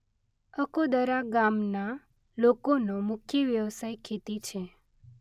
અકોદરા ગામના લોકોનો મુખ્ય વ્યવસાય ખેતી છે.